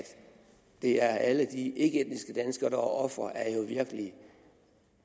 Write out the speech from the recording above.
det er alle de ikkeetniske danskere der er ofre er jo virkelig